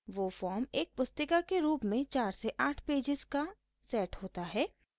वो फॉर्म एक पुस्तिका के रूप में 4 से 8 पेजेस का सेट होता है